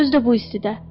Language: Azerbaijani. Özdə bu istidə.